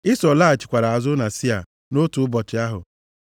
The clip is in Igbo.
Ịsọ laghachikwara azụ na Sia nʼotu ụbọchị ahụ.